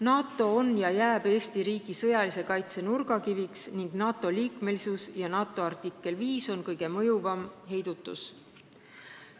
NATO on ja jääb Eesti riigi sõjalise kaitse nurgakiviks ning NATO-liikmesus ja artikkel 5 kõige mõjuvamaks heidutuseks.